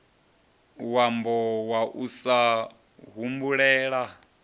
wambo wa u sa humbulela